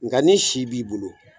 Nka ni si b'i bolo